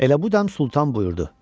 Elə bu dəm Sultan buyurdu.